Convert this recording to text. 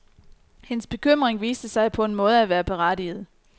Hendes bekymring viste sig på en måde at være berettiget.